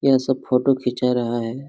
यहा सब फोटो खिचा रहा हैं।